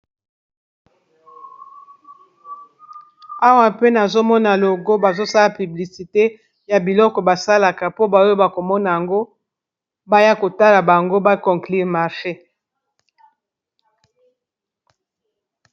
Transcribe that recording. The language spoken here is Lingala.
Awa pe nazomona logo bazosala publicité ya biloko basalaka po ba oyo ba komona ngo baya kotala bango ba conclure marche.